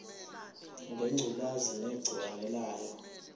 ngengculazi negciwane layo